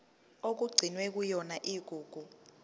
okugcinwe kuyona igugu